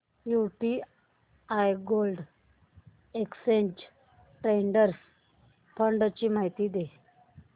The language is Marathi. UTI gold exchange traded fund ची माहिती दे